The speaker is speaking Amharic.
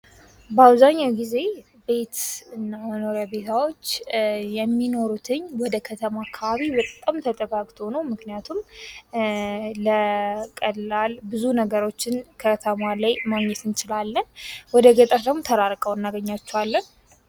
በአብዛኛው ጊዜ ቤትና መኖሪያ ቦታዎች የሚኖሩትኝ ወደከተማ አካባቢ በጣም ተጠጋግቶ ነው ምክንያቱም ለቀላል ብዙ ነገሮችን ከተማ ላይ ማግኘት እንችላለን። ወደ ገጠር ደግሞ ተራርቀው እናገኛቸዋለን።